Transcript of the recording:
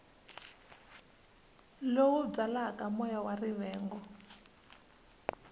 lowu byalaka moya wa rivengo